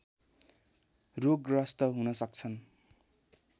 रोगग्रस्त हुन सक्छन्